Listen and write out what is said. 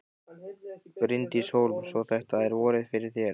Bryndís Hólm: Svo þetta er vorið fyrir þér?